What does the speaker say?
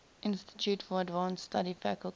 institute for advanced study faculty